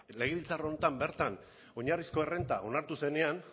legebiltzar honetan bertan oinarrizko errenta onartu zenean